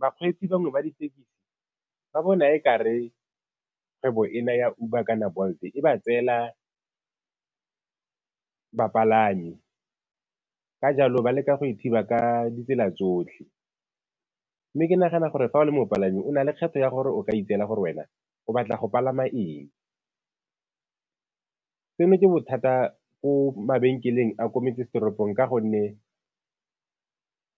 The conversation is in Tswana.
Bakgweetsi bangwe ba ditekisi ba bona e ka re kgwebo ena ya Uber kana Bolt-e e ba tseela bapalami, ka jalo ba leka go e thiba ka ditsela tsotlhe, mme ke nagana gore fa o le mopalami o na le kgetho ya gore o ka itseela gore wena o batla go palama eng. Seno ke bothata ko mabenkeleng a ko metsesetoropong ka gonne